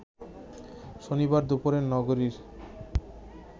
শনিবার দুপুরে নগরীর